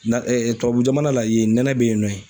Na tubabu jamana la yen, nɛnɛ be yen nɔ.